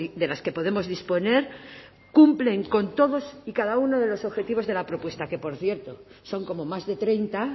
de las que podemos disponer cumplen con todas y cada uno de los objetivos de la propuesta que por cierto son como más de treinta